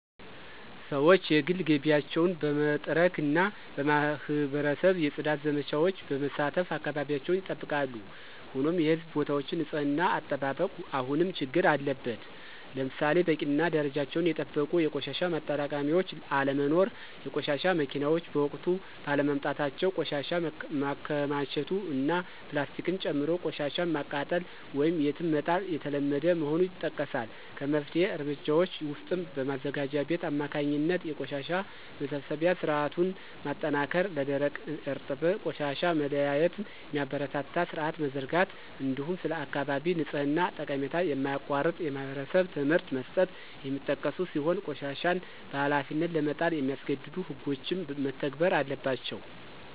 ሰዎች የግል ግቢያቸውን በመጥረግና በማኅበረሰብ የፅዳት ዘመቻዎች በመሳተፍ አካባቢያቸውን ይጠብቃሉ። ሆኖም የሕዝብ ቦታዎች ንፅህና አጠባበቅ አሁንም ችግር አለበት። ለምሳሌ በቂና ደረጃቸውን የጠበቁ የቆሻሻ ማጠራቀሚያዎች አለመኖር፣ የቆሻሻ መኪናዎች በወቅቱ ባለመምጣታቸው ቆሻሻ መከማቸቱ እና ፕላስቲክን ጨምሮ ቆሻሻን ማቃጠል ወይም የትም መጣል የተለመደ መሆኑ ይጠቀሳል። ከመፍትሄ እርምጃዎች ውስጥም በማዘጋጃ ቤት አማካኝነት የቆሻሻ መሰብሰቢያ ሥርዓቱን ማጠናከር፣ ለደረቅና እርጥብ ቆሻሻ መለያየትን የሚያበረታታ ሥርዓት መዘርጋት፣ እንዲሁም ስለ አካባቢ ንጽሕና ጠቀሜታ የማያቋርጥ የማኅበረሰብ ትምህርት መስጠት የሚጠቀሱ ሲሆን ቆሻሻን በኃላፊነት ለመጣል የሚያስገድዱ ሕጎችም መተግበር አለባቸው።